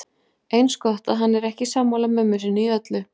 Eins gott að hann er ekki sammála mömmu sinni í öllu.